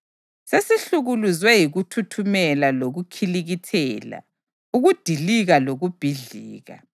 Sesihlukuluzwe yikuthuthumela lokukhilikithela, ukudilika lokubhidlika.”